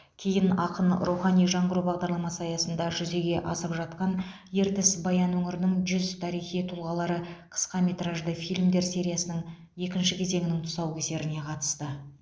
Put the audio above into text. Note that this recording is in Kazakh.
кейін ақын рухани жаңғыру бағдарламасы аясында жүзеге асып жатқан ертіс баян өңірінің жүз тарихи тұлғалары қысқаметражды фильмдер сериясының екінші кезеңінің тұсаукесеріне қатысты